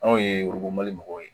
Anw ye worodon mali mɔgɔw ye